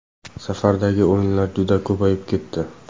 Safardagi o‘yinlar juda ko‘payib ketdi.